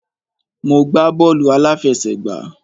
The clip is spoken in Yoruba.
Mo gbá bọ́ọ̀lù àláfẹsẹ̀gbá.